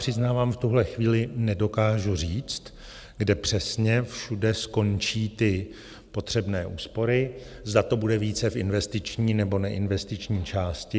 Přiznávám, v tuhle chvíli nedokážu říct, kde přesně všude skončí ty potřebné úspory, zda to bude více v investiční, nebo neinvestiční části.